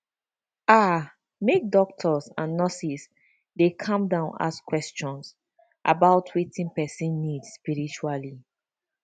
ah make doctors and nurses dey calm down ask question about wetin person need spritually